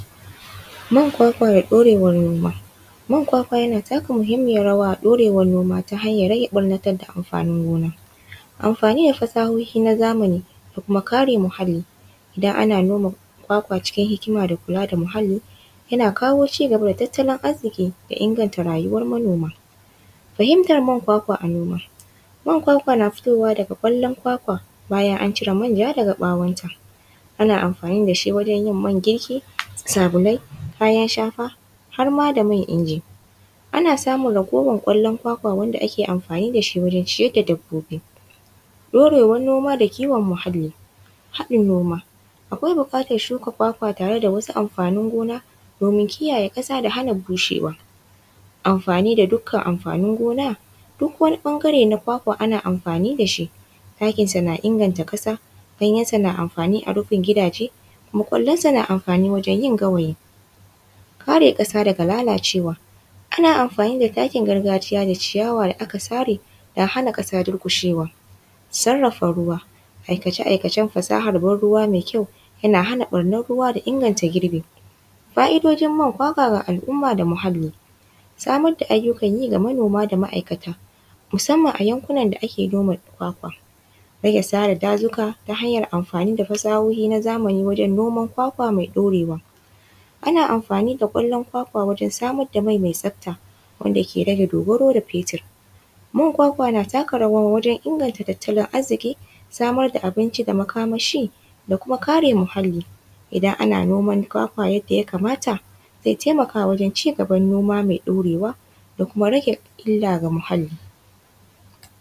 Man kwakwa da ɗorewan noma, man kwakwa yana taka muhimmin rawa a ɗorewan noma ta hanyar rage ɓannatar da amfanin gona, amfani da fasahohi na zamani da kuma kare muhali idan ana noma kwakwa cikin hikima da kula da muhali yana kawo cigaba da tattalin arziki da inganta rayuwar manoma fahimtar man kwakwa a noma man kwakwa na fitowa daga kwalon kwakwa bayan an cire manja daga ɓawon ta ana amfani da shi wajen yin man girki, sabulai, kayan shafa har ma da man inji, ana samun raguwar kwalon kwakwa wanda ake amfani da shi wajen ciyar da dabbobi ɗorewan noma da kiwon muhali, haɗin noma akwai bukatan shuka kwakwa tare da wasu amfanin gona domin kiyaye kasa da hana bushewa amfani da dukan amfanin gona dukwani ɓangare na kwakwa ana amfani da shi, takinsa na inganta kasa, ganyansa na amfani a rufin gidaje, mukulensa na amfani wajen yin gawayi, kare kasa daga lalacewa ana amfani da takin gargajiya da ciyawa da aka tsare don hana kasa durkushewa, sarafa ruwa aikace-aikacen fasahar banruwa mai kyau yana hana ɓarnan ruwa da inganta girbi, fa’idojin man kwakwa ga al’umma da muhali samar da ayyukan yi ga manoma da ma’aikata musamman a yankunan da ake noma kwakwa, rage sare dazuka ta hanyar amfani da fasahohi na zamani wajen noma kwakwa mai ɗorewa ana amfani da kwalon kwakwa wajen samar da mai mai me tsafta wanda ke rage dogaro da fetur man kwakwa na taka rawa wajen inganta tattalin arziki, samar da abinci da makamashi da kuma kare muhalli, idan ana noman kwakwa yadda ya kamata zai taimaka wajen cigaban noma mai ɗoreawa da kuma rage illa ga muhali.